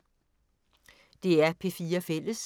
DR P4 Fælles